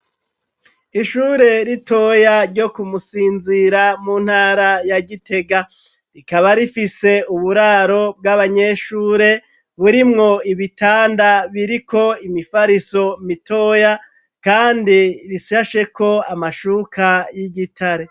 Ishure ritoya ryo kumusinzira mu ntara ya gitega rikaba rifise uburaro bw'abanyeshure burimwo ibitanda biriko imifariso mitoya, kandi rishasheko amashuka y'igitare.